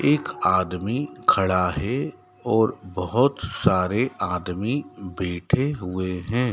एक आदमी खड़ा है और बहोत सारे आदमी बैठे हुए हैं।